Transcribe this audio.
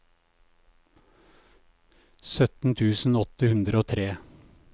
sytten tusen åtte hundre og tre